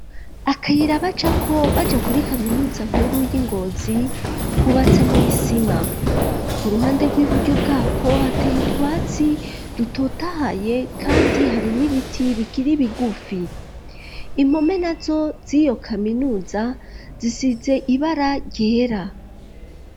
Akayira bacako, baja kuri kaminuza nkuru, y'i Ngozi, kubatse mw'isima; ku ruhande rw'iburyo bwako, hateye utwatsi dutotahaye, kandi hari n'ibiti, bikiri bigufi; impome nazo z'iyo kaminuza, zisize ibara ryera.